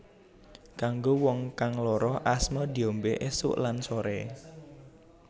Kanggo wong kang lara asma diombé esuk lan soré